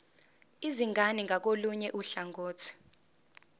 izingane ngakolunye uhlangothi